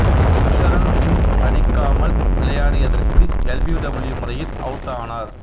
குர்ஷரன் சிங் அடிக்காமல் விளையாடியதற்கு எல்பீடபிள்யூ முறையில் அவுட் ஆனார்